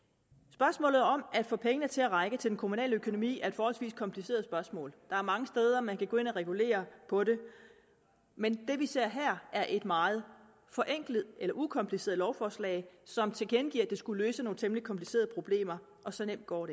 spørgsmålet om at få pengene til at række til den kommunale økonomi er et forholdsvis kompliceret spørgsmål der er mange steder hvor man kan gå ind og regulere på det men det vi ser her er et meget forenklet eller ukompliceret lovforslag som tilkendegiver at det skulle løse nogle temmelig komplicerede problemer og så nemt går